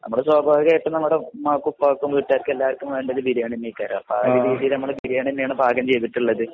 നമ്മുടെ ഇവിടെ സ്വഭാവികമായിട്ടും ഉമ്മക്കും ഉപ്പക്കും വീട്ടുകാര്ക്ക് എല്ലാര്ക്കും വേണ്ടത് ബിരിയാണി തന്നെയായിരിക്കും. ആ ഒരു രീതിയില് നമ്മള് ബിരിയാണി തന്നെയാണ് പാകചെയ്തിട്ടുള്ളത്.